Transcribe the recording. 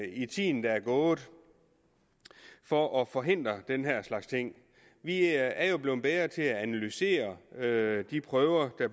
i tiden der er gået for at forhindre den her slags ting vi er jo blevet bedre til at analysere de prøver der